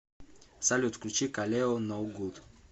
салют включи калео ноу гуд